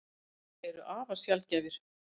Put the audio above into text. Tvíburar eru afar sjaldgæfir.